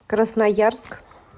красноярск